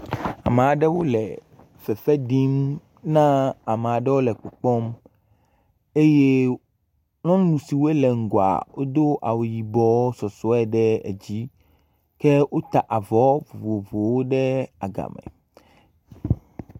Ame aɖewo le fefe ɖim na amea ɖewo le kpɔkpɔm eye nyɔnu siwo le ŋgɔa wodo awu yibɔ fefe ɖe edzi ke wota avɔ bubu woe ɖe aga.